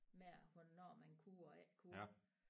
Med hvornår man kunne og ikke kunne